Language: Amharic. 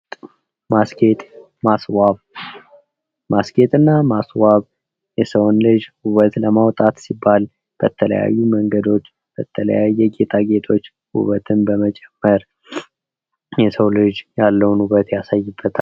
ማስገጥ ማስዋብ፦ ባስኬትና ማስገጥና የሰውን ልጅ ውበት ለማውጣት ሲባል በተለያዩ መንገዶች በተለያየ ጌጣጌጦች ውበትን በመጨመር የሰው ልጅ ያለውን ውበት ያሳይበታል።